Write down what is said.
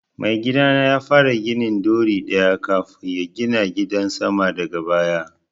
Mai gidana ya fara gini ɗori ɗaya kafun ya gina gidan sama daga baya